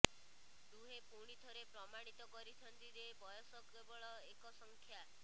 ଦୁହେଁ ପୁଣିଥରେ ପ୍ରମାଣିତ କରିଛନ୍ତି ଯେ ବୟସ କେବଳ ଏକ ସଂଖ୍ୟା